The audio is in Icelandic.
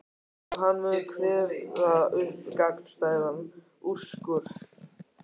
Og hann mun kveða upp gagnstæðan úrskurð.